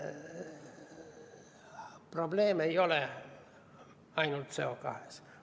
Probleem ei ole ainult CO2.